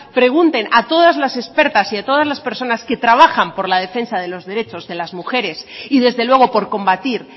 pregunten a todas las expertas y a todas las personas que trabajan por la defensa de los derechos de las mujeres y desde luego por combatir